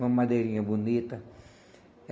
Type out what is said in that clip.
Uma madeirinha bonita.